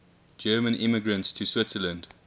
german immigrants to switzerland